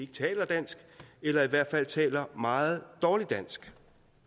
taler dansk eller i hvert fald taler meget dårligt dansk